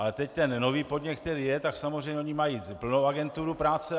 Ale teď ten nový podnět, který je, tak samozřejmě oni mají plnou agenturu práce.